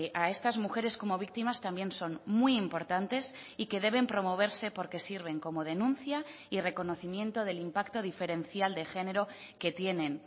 a estas mujeres como víctimas también son muy importantes y que deben promoverse porque sirven como denuncia y reconocimiento del impacto diferencial de género que tienen